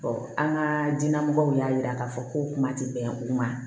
an ka diinɛ mɔgɔw y'a jira k'a fɔ ko kuma tɛ bɛn u ma